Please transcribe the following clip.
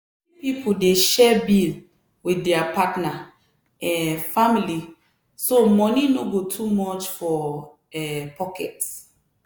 plenty pipo dey share bill with their partner um family so money no go too much for um pocket.